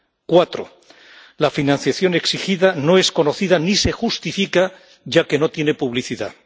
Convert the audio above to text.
Cuatro, la financiación exigida no es conocida ni se justifica, ya que no tiene publicidad.